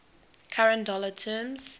current dollar terms